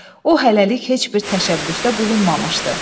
O hələlik heç bir təşəbbüsdə bulunmamışdı.